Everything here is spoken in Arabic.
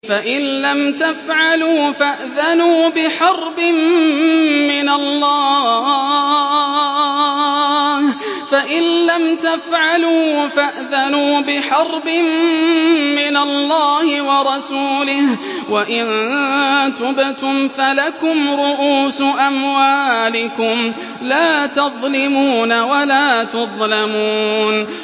فَإِن لَّمْ تَفْعَلُوا فَأْذَنُوا بِحَرْبٍ مِّنَ اللَّهِ وَرَسُولِهِ ۖ وَإِن تُبْتُمْ فَلَكُمْ رُءُوسُ أَمْوَالِكُمْ لَا تَظْلِمُونَ وَلَا تُظْلَمُونَ